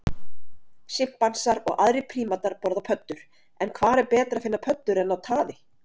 Simpansar og aðrir prímatar borða pöddur en hvar betra að finna pöddur en á taði?